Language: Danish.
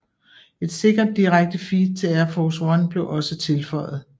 Et sikkert direkte feed til Air Force One blev også tilføjet